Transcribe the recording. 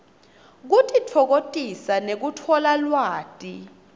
kutitfokotisa nekutfola lwati